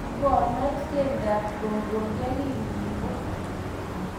Kokinoch keldap kogo yekingibut.